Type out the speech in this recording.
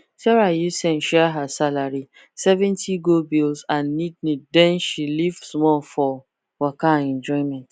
sarah use sense share her salary 70 go bills and needneed then she leave small for waka and enjoyment